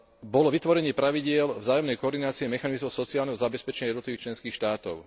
bolo vytvorenie pravidiel vzájomnej koordinácie mechanizmov sociálneho zabezpečenia jednotlivých členských štátov.